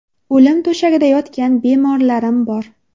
O‘lim to‘shagida yotgan bemorlarim bor.